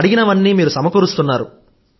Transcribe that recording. అడిగనవన్నీ మీరు సమకూరుస్తున్నారు